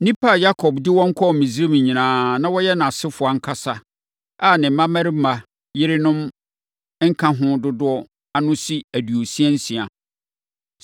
Nnipa a Yakob de wɔn kɔɔ Misraim nyinaa, a wɔyɛ nʼasefoɔ ankasa, a ne mmammarima yerenom nka ho dodoɔ ano si aduosia nsia.